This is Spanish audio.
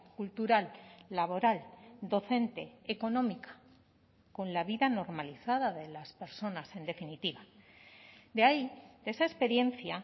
cultural laboral docente económica con la vida normalizada de las personas en definitiva de ahí esa experiencia